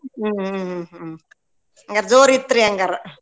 ಹ್ಮ್ ಹ್ಮ್ ಹ್ಮ್ ಹ್ಮ್ ಹಂಗರ್ ಜೋರಿತ್ರೀ ಹಂಗರ.